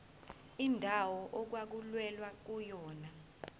indawo okwakulwelwa kuyona